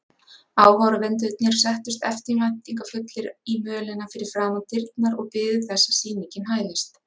Áhorfendurnir settust eftirvæntingarfullir í mölina fyrir framan dyrnar og biðu þess að sýningin hæfist.